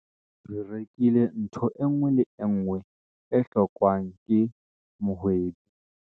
re rekile ntho e nngwe le e nngwe e hlokwang ke mohwebi